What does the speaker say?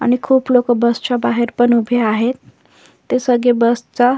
आणि खूप लोक बसच्या बाहेर पण उभे आहे ते सगळे बसचा--